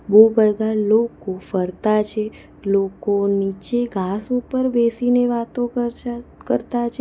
બોઉ બધા લોકો ફરતા છે લોકો નીચે ઘાસ ઉપર બેસીને વાતો કરછા કરતા છે.